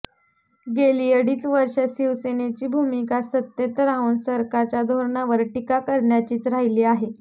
गेली अडीच वर्ष शिवसेनेची भूमिका सत्तेत राहून सरकारच्या धोरणावर टीका करण्याचीच राहिली आहे